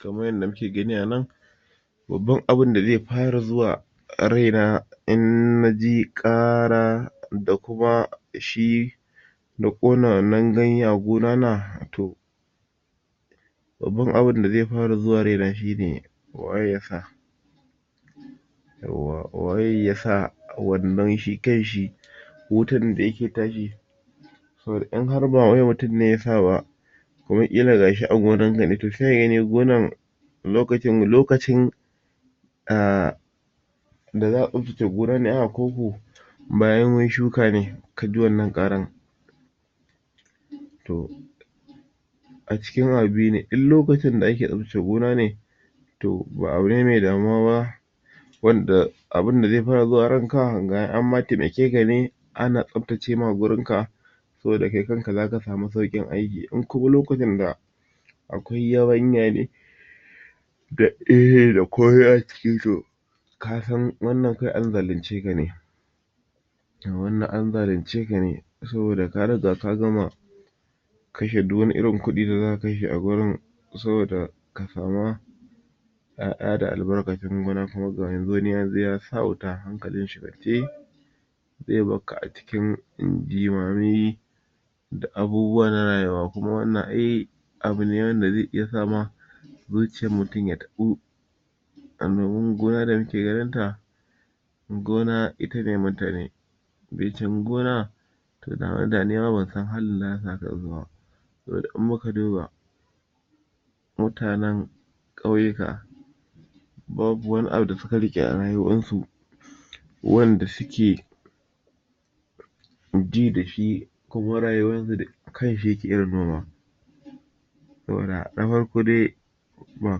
kamar yadda muke gani anan babban abunda ze fara zuwa raina in naji ƙara da kuma shi da ƙona wannan ganya gunana babban abun da ze fara zuwa raina shine waye yasa waye yasa wannan shi kanshi wutan da yake tashi saboda in har ba wai mutum ne yasa ba kuma ƙila gashi a gonan kane to seka gani gona lokacin, lokacin a da za'a tsaftace gona ne a'ah ko ko bayan shuka ne kaji wannan ƙaran to a cikin abu biyu ne in lokcin da ake tsaftace gona ne to ba abu ne me damuwa ba wanda abunda ze fara zuwa ranka kaga anma taimakeka ne ana tsaftace ma gurinka saboda kai kanka zaka samu sauƙin aiki in kuma lokutan da akwai yabanya ne kasan wannan kawai an zalunce kane to wannan an zalunceka ne saboda ka riga ka gama kashe duk wani irin kuɗi da zaka kashe a gonan saboda ka sama ƴaƴa da albarkacin gona kuma ga yanzu wani yazo yasa wuta hankalin shi kwance ze barka a cikin jimami da abubuwa na rayuwa kuma wannan ai abu ne wanda ze iya sama zuciyar mutum ya taɓo annoban gona da muke ganin ta gona ita ne mutane be cin gona to dan haka nima bansan halin da zasu sa kansu ba saboda in muka duba mutanen ƙauyika babu wani abu da suka riƙe a rayuwansu wanda suke ji dashi kuma rayuwar su akan shi yake irin noma saboda na farko dai ba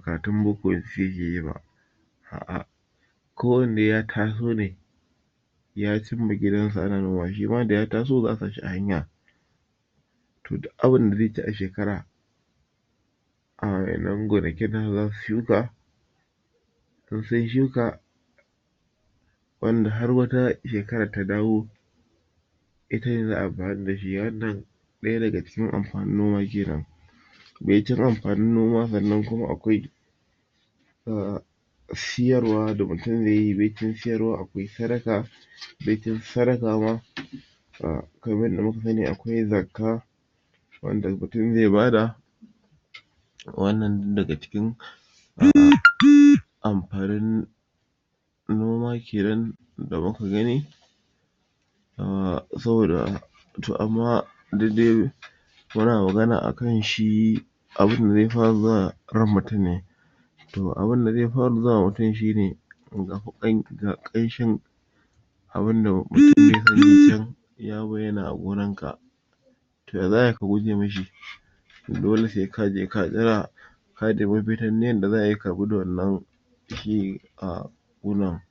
karatun boko suke yiba a'ah ko wanne ya taso ne ya cimma gidansu ana noma shima daya taso za'a sashi a hanya to duk abinda ze ci a shekara a waƴannan gonakin nasu zasu shuka in sun shuka wanda har wata shekarar ta dawo ita ne ze amfani dashi wannan ɗaya daga cikin amfanin noma kenan baicin amfanin noma sannan kuma akwai a siyarwa da mutum zeyi baicin siyarwa akwai sadaka baicin sadaka ma a kamar yadda muka sani akwai zakka wanda mutum ze bada wannan duk daga cikin amfanin noma kenan da muka gani a saboda to amma duk dai muna magana akan shi abunda ze fara zuwa ran mutum ne to abunda ze fara zuwa ma mutum shine tuƙa tuƙan da ƙanshi abun da ya bayyana a gonar ka to ya za ai ka guje mishi dole se kaje ka jira ka ɗebi duk yanda zaka bi da wannan shi a ƙona.